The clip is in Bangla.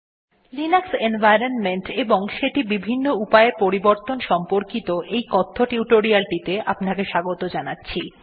নমস্কার বন্ধুগণ লিনাক্স এনভাইরনমেন্ট এবং সেটি বিভিন্ন উপায়ে পরিবর্তন সম্পর্কিত এই কথ্য টিউটোরিয়ালটিতে আপনাকে স্বাগত জানাচ্ছি